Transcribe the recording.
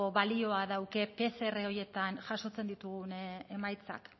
balioa dauka pcr horietan jasotzen ditugun emaitzak